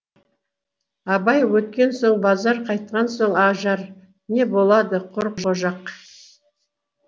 абай өткен соң базар қайтқан соң ажар не болады құр қожақ